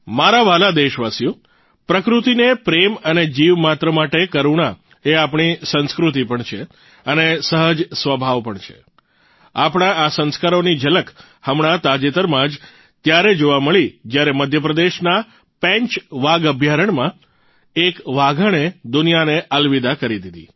મારા વ્હાલા દેશવાસીઓ પ્રકૃતિને પ્રેમ અને જીવ માત્ર માટે કરૂણા એ આપણી સંસ્કૃતિ પણ છે અને સહજ સ્વભાવ પણ છે આપણા આ સંસ્કારોની ઝલક હમણાં તાજેતરમાં જ ત્યારે જોવા મળી જયારે મધ્યપ્રદેશના પેંચ વાઘ અભ્યારણ્યમાં એક વાઘણે દુનિયાને અલવિદા કરી દીધી